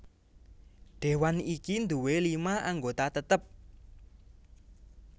Dewan iki nduwé lima anggota tetep